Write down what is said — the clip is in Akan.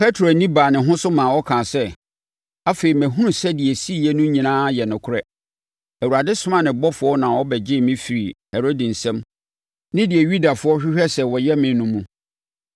Petro ani baa ne ho so maa ɔkaa sɛ, “Afei, mahunu sɛ deɛ ɛsiiɛ no nyinaa yɛ nokorɛ! Awurade somaa ne ɔbɔfoɔ na ɔbɛgyee me firii Herode nsam ne deɛ Yudafoɔ hwehwɛɛ sɛ wɔyɛ me no mu.”